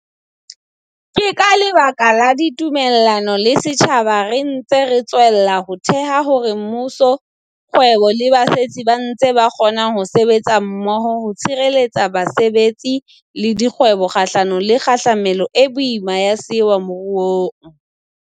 Ke ka lebaka la ditumellano le setjhaba re ntse re tswella ho theha hore mmuso, kgwebo le basetsi ba ntse ba kgona ho sebetsa mmoho ho tshireletsa basebetsi le dikgwebo kgahlano le kgahlamelo e boima ya sewa moruong.